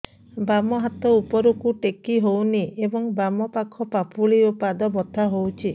ବାମ ହାତ ଉପରକୁ ଟେକି ହଉନି ଏବଂ ବାମ ପାଖ ପାପୁଲି ଓ ପାଦ ବଥା ହଉଚି